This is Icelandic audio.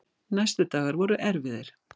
Næstu dagar voru erfiðir.